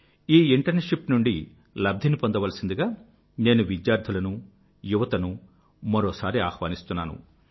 ఈ ఇంటర్న్షిప్ నుండి లబ్ధిని పొందవలసిందిగా నేను విద్యార్థులనూ యువతనూ మరొకసారి ఆహ్వానిస్తున్నాను